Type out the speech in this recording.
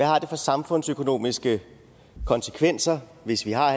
har for samfundsøkonomiske konsekvenser hvis vi har